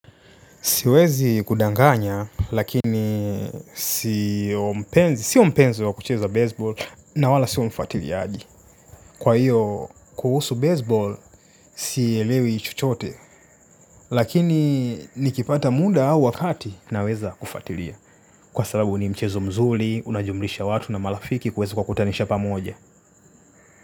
Siwezi kudanganya, lakini sio mpenzi wa kucheza baseball na wala sio mfatiliaji. Kwa hiyo, kuhusu baseball, siielewi chochote. Lakini nikipata munda au wakati naweza kufatilia. Kwa sababu ni mchezo mzuli, unajumlisha watu na malafiki kuweza kuwa kutanisha pamoja.